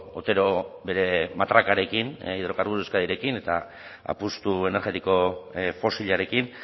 otero bere matrakarekin hidrocarburos de euskadirekin eta apustu energetiko fosilarekin